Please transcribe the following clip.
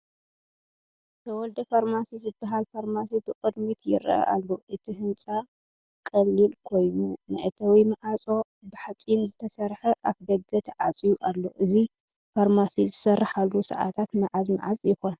"ተወልደ ፋርማሲ" ዝበሃል ፋርማሲ ብቅድሚት ይርአ ኣሎ። እቲ ህንጻ ቀሊል ኮይኑ፡ መእተዊ ማዕጾ ብሓጺን ዝተሰርሐ ኣፍደገ ተዓጽዩ ኣሎ። እዚ ፋርማሲ ዝሰርሓሉ ሰዓታት መዓዝ መዓዝ ይኾን?